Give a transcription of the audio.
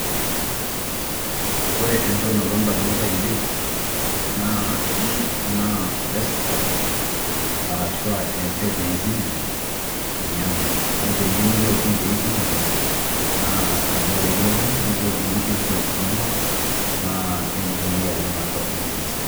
Ore entoki nalotu edamunot ainei naa desktop aashu embeenj' e eCitizen ninye ena neeku teniyieu nilog in te eCitizen iltu nilog in nipik details inonok nitumoki atijing'a atwa eCitizen